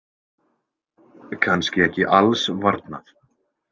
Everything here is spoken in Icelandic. Kannski ekki alls varnað.